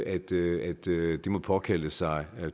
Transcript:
at det må påkalde sig